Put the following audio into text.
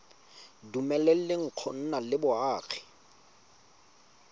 dumeleleng go nna le boagi